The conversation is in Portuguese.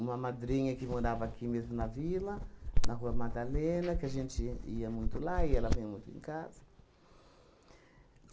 uma madrinha que morava aqui mesmo na vila, na Rua Madalena, que a gente ia muito lá e ela veio muito em casa.